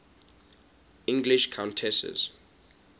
english countesses